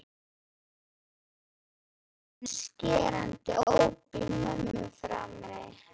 Það heyrðist allt í einu skerandi óp í mömmu frammi.